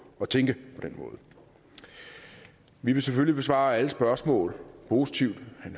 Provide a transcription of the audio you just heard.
at tænke på den måde vi vil selvfølgelig besvare alle spørgsmål positivt